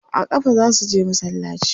A ƙafa za su je masallaci.